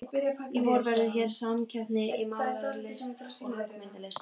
Í vor verður hér samkeppni í málaralist og höggmyndalist.